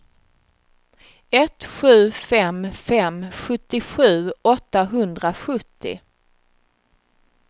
ett sju fem fem sjuttiosju åttahundrasjuttio